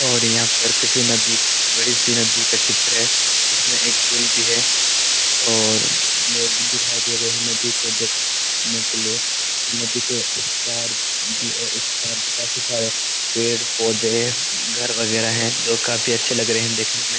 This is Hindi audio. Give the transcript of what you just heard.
और यहां पर किसी नदी बड़ी सी नदी का चित्र है जिसमें एक पुल भी है और लोग दिखाई दे रहे है नदी को देख ने के लिए और नदी के उस पार नदी के उस पार भी काफी सारे पेड़-पौधे है घर वगैरह है जो काफी अच्छे लग रहे है देखने में।